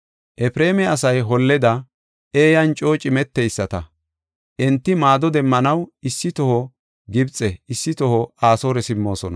“Efreema asay holleda eeyanne coo cimeteyisata. Enti maado demmanaw issi toho Gibxe; issi toho Asoore simmoosona.